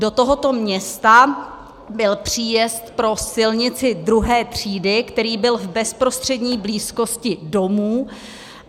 Do tohoto města byl příjezd pro silnici II. třídy, který byl v bezprostřední blízkosti domů.